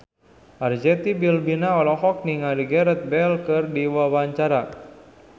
Arzetti Bilbina olohok ningali Gareth Bale keur diwawancara